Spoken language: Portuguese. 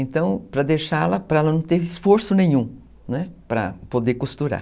Então, para deixá-la, para ela não ter esforço nenhum, né, para poder costurar.